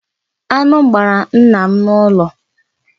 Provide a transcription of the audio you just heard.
Aṅụ gbara nna m n’ụlọ.